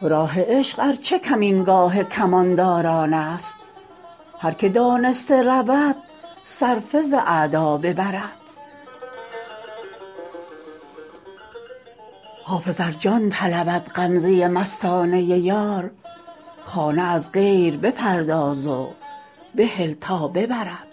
راه عشق ار چه کمینگاه کمانداران است هر که دانسته رود صرفه ز اعدا ببرد حافظ ار جان طلبد غمزه مستانه یار خانه از غیر بپرداز و بهل تا ببرد